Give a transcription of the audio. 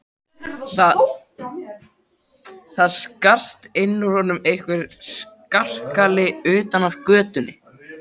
Það skarst inn úr honum einhver skarkali utan af götunni.